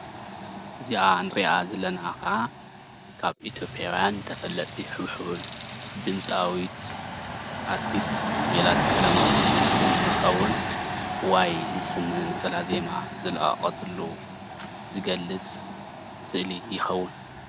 እዚኣ እንሪኣ ዘለና ከዓ ካብ ኢትዮጵያዊያን ተፈለጥቲ ሕብሑብን ድምፃዊት ኣርቲስት ሜላት ቀለምወርቅ እንትከውን ዋይ ዝስነን ነፀላ ዜማ ዝለቀቀትሉ ዝገልፅ ስእሊ ይከውን፡፡